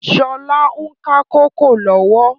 Sọlá ń ka kòkó lọ́wọ́